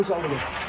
Qoy saldır.